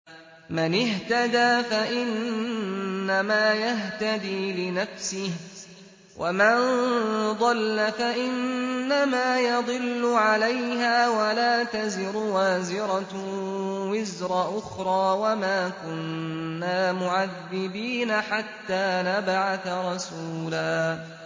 مَّنِ اهْتَدَىٰ فَإِنَّمَا يَهْتَدِي لِنَفْسِهِ ۖ وَمَن ضَلَّ فَإِنَّمَا يَضِلُّ عَلَيْهَا ۚ وَلَا تَزِرُ وَازِرَةٌ وِزْرَ أُخْرَىٰ ۗ وَمَا كُنَّا مُعَذِّبِينَ حَتَّىٰ نَبْعَثَ رَسُولًا